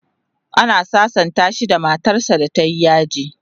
ana sasanta shi da matar sa da tayi yaji